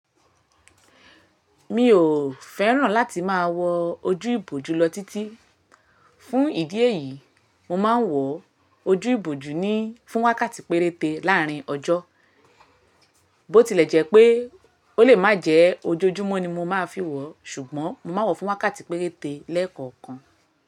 Mi ò fẹ́ràn láti máa wọ ojú ìbòjú lọ títí. Fún ìdí èyí, mo máa ń wọ ojú ìbòjú ni fún wákàtí péréte láàárín ọjọ́. Bó tilẹ̀ jẹ́ pé ó lè má jẹ ojojúmọ́ ni mo máa fi wọ, ṣùgbọ́n mo máa wọ̀ fún wákàtí péréte lẹ́ẹ̀kọ̀ọ̀kan.